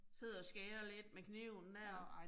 Sidder og skærer lidt med kniven der